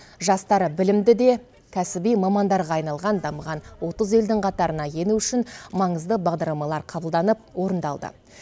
жастары білімді де кәсіби мамандарға айналған дамыған отыз елдің қатарына ену үшін маңызды бағдарламалар қабылданып орындалды